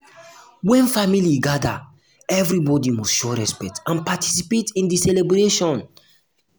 when family gather everybody must show respect and participate in di um celebration.